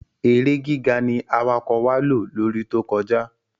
èrè gíga ní awakọ̀ wá ló lórí To kọjá.